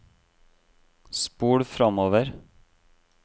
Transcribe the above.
spol framover